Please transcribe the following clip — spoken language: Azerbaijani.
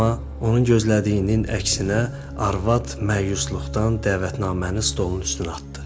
amma onun gözlədiyinin əksinə, arvad məyusluqdan dəvətnaməni stolun üstünə atdı.